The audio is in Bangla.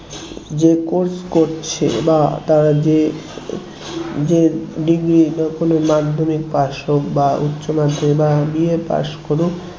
যে course করছে বা তারা যে যে degree তখন মাধ্যমিক pass হোক বা উচ্চমাধ্যমিক বা BA pass করুক